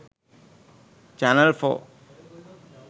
channel 4